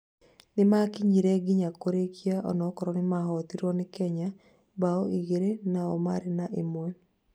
Nĩmakinyire nginya kũrĩkia onakorwo nimahotirwo nĩ Kenya mbao igĩrĩ nao marĩ na ĩmwe